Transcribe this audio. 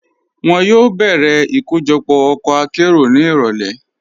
Wọn yóò bẹ̀rẹ̀ ikojọpọ̀ ọkọ àkéró ni irọ̀lẹ̀.